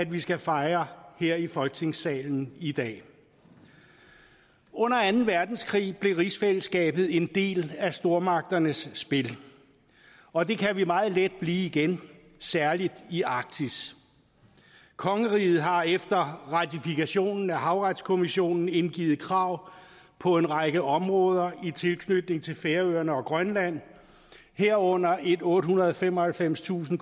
vi skal fejre her i folketingssalen i dag under anden verdenskrig blev rigsfællesskabet en del af stormagternes spil og det kan vi meget let blive igen særlig i arktis kongeriget har efter ratifikationen af havretskonventionen indgivet krav på en række områder i tilknytning til færøerne og grønland herunder et ottehundrede og femoghalvfemstusind